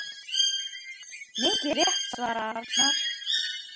Mikið rétt svarar Arnar.